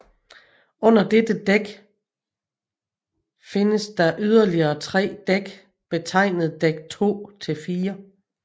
Under dette dæk fides der yderligere tre dæk betegnet dæk 2 til 4